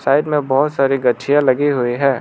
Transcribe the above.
Side में बहुत सारी गचियां लगी हुई है।